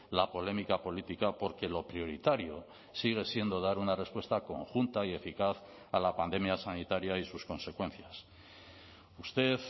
la polémica política porque lo prioritario sigue siendo dar una respuesta conjunta y eficaz a la pandemia sanitaria y sus consecuencias usted